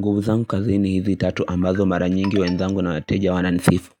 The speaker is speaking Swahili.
Nguvu zangu kazini hizi tatu ambazo mara nyingi wenzangu na wateja wananisifu